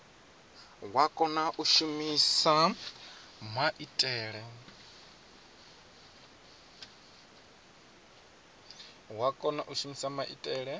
wa kona u shumisa maitele